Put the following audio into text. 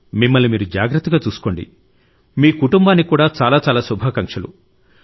మిమ్మల్ని మీరు జాగ్రత్తగా చూసుకోండి మీ కుటుంబానికి కూడా చాలా చాలా శుభాకాంక్షలు